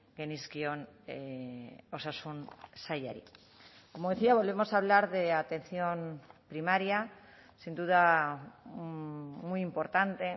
genizkion osasun sailari como decía volvemos a hablar de atención primaria sin duda muy importante